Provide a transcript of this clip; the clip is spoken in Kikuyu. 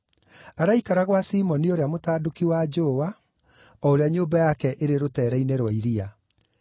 Araikara gwa Simoni ũria mũtanduki wa njũũa, o ũrĩa nyũmba yake ĩrĩ rũtere-inĩ rwa iria.”